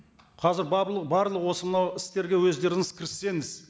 қазір барлық осы мынау істерге өздеріңіз кіріссеңіз